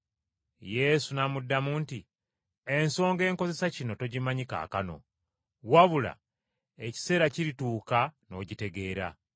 Yesu n’amuddamu nti, “Ensonga enkozesa kino togimanyi kaakano, wabula ekiseera kirituuka n’ogitegeera.”